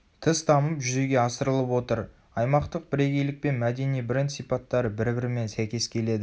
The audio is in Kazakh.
тыс дамып жүзеге асырылып отыр.аймақтық бірегейлік пен мәдени бренд сипаттары бір-бірімен сәйкескеледі